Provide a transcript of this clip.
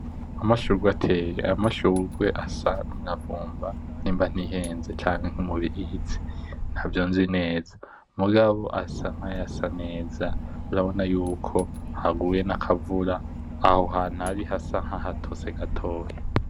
Amashurwe ateye, ayo mashurwe asa kumuravuba niba ntiheze canke umubirizi ntavyonzi neza mugabo asa nkayasa neza, urabona yuko aguye nakavura aho hantu ari hasa nahatose gatoya.